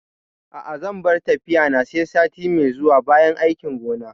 A'a zan bar tafiya na sai sati mai zuwa bayan aikin gona